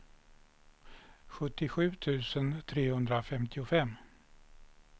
sjuttiosju tusen trehundrafemtiofem